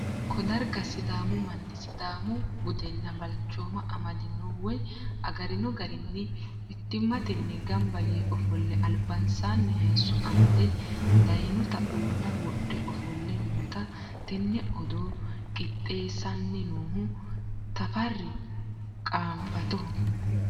koo darga sidaamu manni sidaamu budenna balchooma amadino woy agarino garinni mittimmatenni gamba yee ofolle albansaanni hayisso amade dayinota uulla wodhe ofolle no, tenne odoo qixxeessinohuno tafarri qaanfatoho.